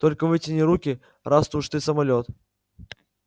только вытяни руки раз уж ты самолёт